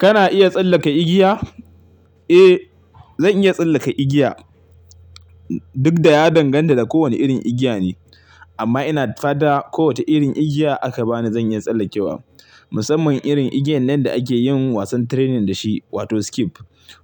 Kana iya tsallake igiya? Eh, zan iya tsallaka igiya. Duk da ya danganta da kowane irin igiya ne. Amma ina fada kowace irin igiya aka bani zan iya tsallakewa. Musamman irin igiyan nan da ake yin wasan training da shi, wato skip.